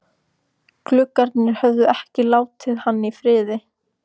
Gluggarnir höfðu ekki látið hann í friði.